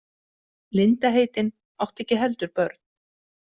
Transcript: Linda heitin átti ekki heldur börn.